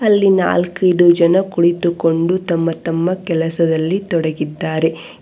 ಅಲ್ಲಿ ನಾಲ್ಕೈದು ಜನ ಕುಳಿತುಕೊಂಡು ತಮ್ಮ ತಮ್ಮ ಕೆಲಸದಲ್ಲಿ ತೊಡಗಿದ್ದಾರೆ.